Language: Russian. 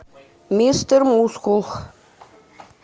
мистер мускул